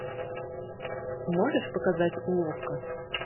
можешь показать уловка